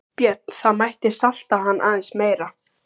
Björn: Það mætti salta hann aðeins meira?